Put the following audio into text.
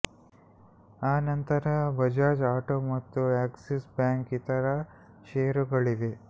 ಆ ನಂತರ ಬಜಾಜ್ ಆಟೋ ಮತ್ತು ಆಕ್ಸಿಸ್ ಬ್ಯಾಂಕ್ ಇತರ ಷೇರುಗಳಿವೆ